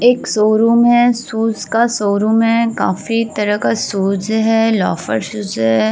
एक शोरुम है। शूज का शोरुम है। काफी तरह का शूज है लोफर शूज है।